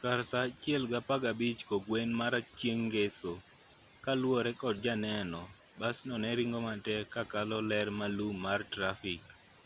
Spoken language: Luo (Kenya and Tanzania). kar saa 1:15 kokgwen mar chieng' ngeso kaluwore kod janeno basno ne ringo matek ka kalo ler maralum mar trafik